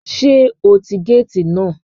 Sé o ti gáàtì náà